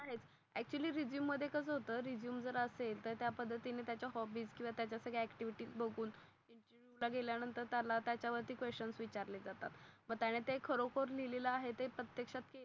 Actual resume मध्ये कस होत. रेझूमे जर असेल तर त्या पद्धतीने त्या च्या हॉबीज ला त्याच्या सगळ्या ऍक्टिव्हिटीस बघून मग तिथ गेल्या नंतर त्याला त्यच्या वर क्वेशन्स विचारतात मग त्याने ते खरोखर लिहिलेलं आहे ते प्रतेक्षात